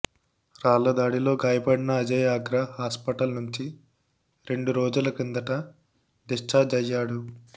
రాళ్లదాడిలో గాయపడిన అజయ్ ఆగ్రా హాస్పిటల్ నుంచి రెండు రోజుల కిందట డిశ్చార్జ్ అయ్యాడు